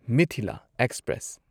Mithila express